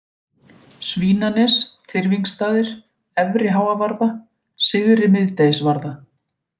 Svínanes, Tyrfingsstaðir, Efri-Háavarða, Syðri-Miðdegisvarða